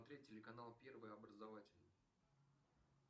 смотреть телеканал первый образовательный